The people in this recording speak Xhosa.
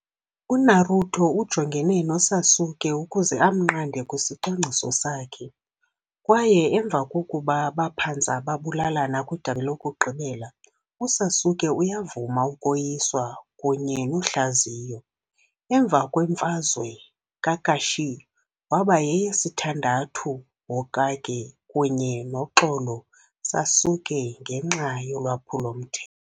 UNaruto ujongene noSasuke ukuze amnqande kwisicwangciso sakhe, kwaye emva kokuba baphantse babulalana kwidabi lokugqibela, uSasuke uyavuma ukoyiswa kunye nohlaziyo. Emva kwemfazwe, Kakashi waba yesithandathu Hokage kunye noxolo Sasuke ngenxa yolwaphulo-mthe